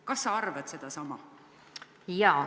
Kas sa arvad sedasama?